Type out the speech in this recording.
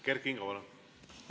Kert Kingo, palun!